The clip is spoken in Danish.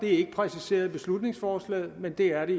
er præciseret i beslutningsforslaget men det er det